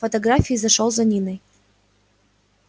в фотографии зашёл за ниной